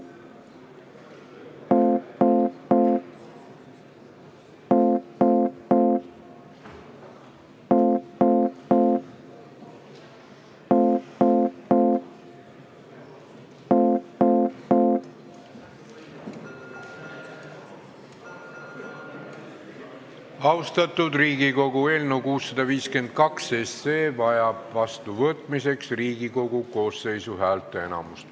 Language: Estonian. Austatud Riigikogu, eelnõu 652 vajab seadusena vastuvõtmiseks Riigikogu koosseisu häälteenamust.